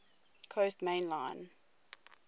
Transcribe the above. coast main line